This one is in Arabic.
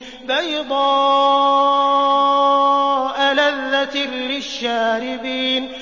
بَيْضَاءَ لَذَّةٍ لِّلشَّارِبِينَ